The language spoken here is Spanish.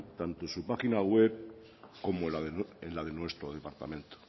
tanto en su página web como en la de nuestro departamento